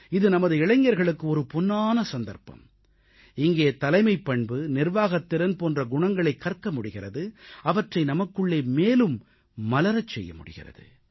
இது நமது இளைஞர்களுக்கு பொன்னான சந்தர்ப்பம் இங்கே தலைமைப் பண்பு நிர்வாகத்திறன் போன்ற குணங்களைக் கற்க முடிகிறது அவற்றை நமக்குள்ளே மேலும் மலரச் செய்ய முடிகிறது